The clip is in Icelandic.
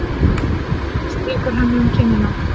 Hemmi strýkur henni um kinnina.